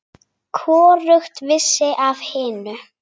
Hvorugt vissi af hinu.